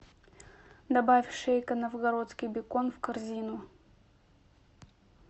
добавь шейка новгородский бекон в корзину